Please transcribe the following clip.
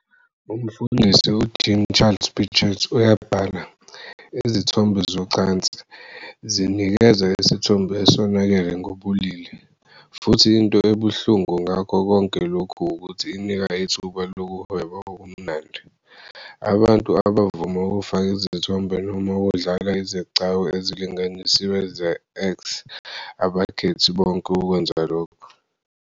Umfundisi uJean-Charles Bichet uyabhala, "Izithombe zocansi zinikeza isithombe esonakele ngobulili. Futhi into ebuhlungu ngakho konke lokhu ukuthi inika ithuba lokuhweba okumnandi. Abantu abavuma ukufaka izithombe noma ukudlala izigcawu ezilinganisiwe ze-X abakhethi bonke ukwenza lokho.